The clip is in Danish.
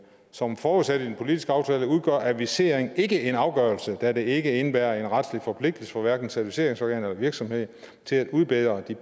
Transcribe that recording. som forudsat i den politiske aftale udgør adviseringen ikke en afgørelse da den ikke indebærer en retlig forpligtelse for hverken certificeringsorganet eller virksomheden til at udbedre de